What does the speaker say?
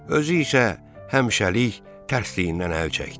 Özü isə həmişəlik tərslikdən əl çəkdi.